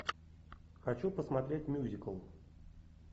хочу посмотреть мюзикл